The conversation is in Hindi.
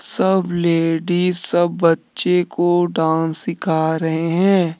सब लेडीज सब बच्चे को डांस सिखा रहे हैं।